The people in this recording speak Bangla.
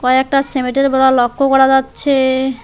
কয়েকটা সেমেট -এর বোড়া লক্ষ করা যাচ্ছে।